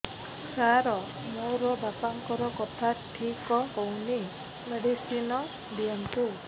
ସାର ମୋର ବାପାଙ୍କର କଥା ଠିକ ହଉନି ମେଡିସିନ ଦିଅନ୍ତୁ